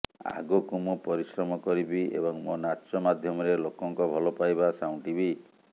ଆଗକୁ ମୁଁ ପରିସ୍ରମ କରିବି ଏବଂ ମୋ ନାଚ ମାଧ୍ୟମରେ ଲୋକଙ୍କ ଭଲ ପାଇବା ସାଉଁଟିବି